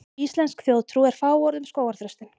Íslensk þjóðtrú er fáorð um skógarþröstinn.